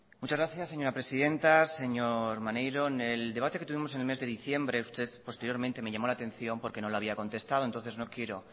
muchas gracias señora presidenta señor maneiro en el debate que tuvimos en el mes de diciembre usted posteriormente me llamó la atención porque no le había contestado entonces no quiero